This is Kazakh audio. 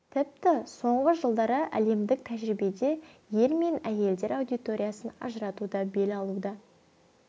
тіпті соңғы жылдары әлемдік тәжірибеде ер мен әйелдер аудиториясын ажырату да бел алуда